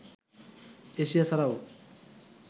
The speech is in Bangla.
এশিয়া ছাড়াও